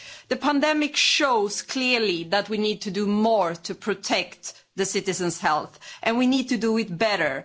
The pandemic shows clearly that we need to do more to protect the citizens' health and we need to do it better.